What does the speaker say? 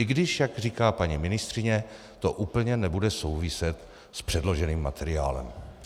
I když, jak říká paní ministryně, to úplně nebude souviset s předloženým materiálem.